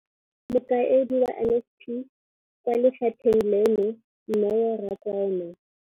Mokaedi wa NSNP kwa lefapheng leno, Neo Rakwena.